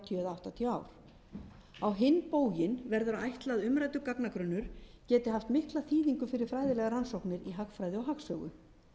áttatíu ár á hinn bóginn verður að ætla að umræddur gagnagrunnur geti haft mikla þýðingu fyrir fræðilegar rannsóknir í hagfræði og hagsögu